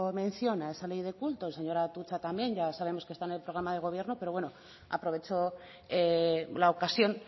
mención a esa ley de culto el señor atutxa también ya sabemos que está en el programa del gobierno pero bueno aprovecho la ocasión